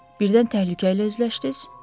Birdən təhlükə ilə üzləşdiz?